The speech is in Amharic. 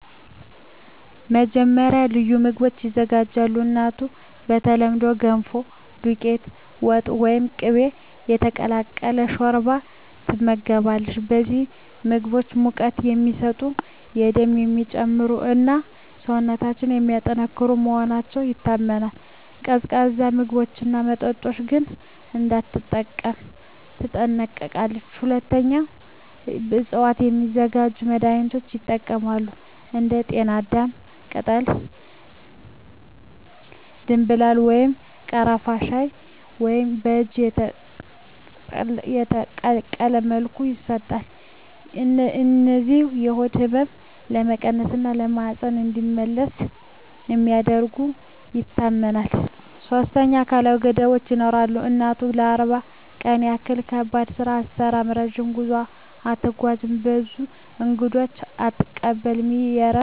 መጀመሪያ፣ ልዩ ምግቦች ይዘጋጃሉ። እናቱ በተለምዶ “ገንፎ”፣ “ዱቄት ወጥ” ወይም “ቅቤ የተቀላቀለ ሾርባ” ትመገባለች። እነዚህ ምግቦች ሙቀት የሚሰጡ፣ ደምን የሚጨምሩ እና ሰውነትን የሚያጠናክሩ መሆናቸው ይታመናል። ቀዝቃዛ ምግብና መጠጥ ግን እንዳትጠቀም ትጠነቀቃለች። ሁለተኛ፣ ከእፅዋት የሚዘጋጁ መድኃኒቶች ይጠቀማሉ። እንደ ጤናዳም ቅጠል፣ ደምብላል ወይም ቀረፋ በሻይ ወይም በእጅ የተቀቀለ መልኩ ይሰጣሉ። እነዚህ የሆድ ህመምን ለመቀነስ እና ማህፀን እንዲመለስ እንደሚረዱ ይታመናል። ሶስተኛ፣ አካላዊ ገደቦች ይኖራሉ። እናቱ ለ40 ቀን ያህል ከባድ ስራ አትሠራም፣ ረጅም ጉዞ አትጓዝም፣ ብዙ እንግዶችንም አትቀበልም። ይህ ለእረፍትና ለፈጣን መዳን ነው